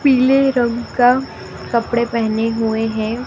पीले रंग का कपड़े पहने हुए हैं।